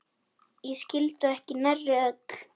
Ég skildi þau ekki nærri öll.